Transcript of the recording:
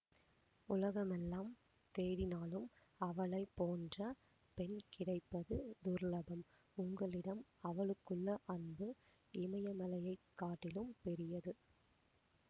உலகமெல்லாம் தேடினாலும் அவளை போன்ற பெண் கிடைப்பது துர்லபம் உங்களிடம் அவளுக்குள்ள அன்பு இமயமலையைக் காட்டிலும் பெரியது